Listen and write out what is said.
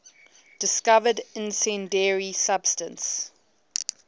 discovered incendiary substance